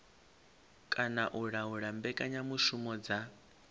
kana u laula mbekanyamushumo dza